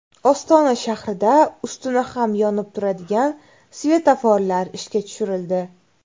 Ostona shahrida ustuni ham yonib turadigan svetoforlar ishga tushirildi .